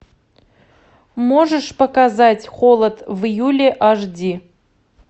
можешь показать холод в июле аш ди